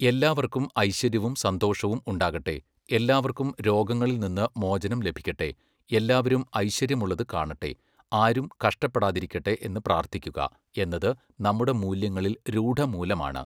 എല്ലാവർക്കും ഐശ്വര്യവും സന്തോഷവും ഉണ്ടാകട്ടെ, എല്ലാവർക്കും രോഗങ്ങളിൽ നിന്ന് മോചനം ലഭിക്കട്ടെ, എല്ലാവരും ഐശ്വര്യമുള്ളത് കാണട്ടെ, ആരും കഷ്ടപ്പെടാതിരിക്കട്ടെ എന്ന് പ്രാർത്ഥിക്കുക എന്നത് നമ്മുടെ മൂല്യങ്ങളിൽ രൂഢമൂലമാണ്.